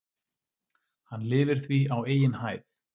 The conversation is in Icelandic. Hann lifir því á eigin hæð.